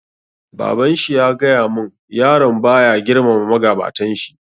Baban shi ya gaya mun, yaron ba ya girmama magabatan shi